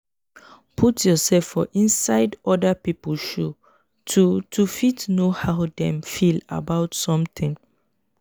put yourself for inside oda pipo shoe to to fit know how dem feel about something